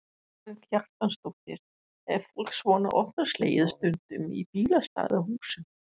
Karen Kjartansdóttir: Er fólk svona óttaslegið stundum í bílastæðahúsum?